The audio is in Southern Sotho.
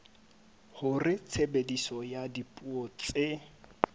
hore tshebediso ya dipuo tse